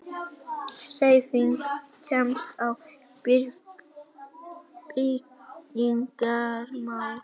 HREYFING KEMST Á BYGGINGARMÁL